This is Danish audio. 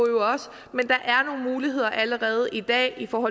men der er nogle muligheder allerede i dag for